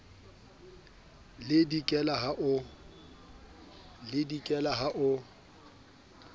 le le dikelang ha o